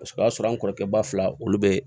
Paseke o y'a sɔrɔ an kɔrɔkɛ ba fila olu be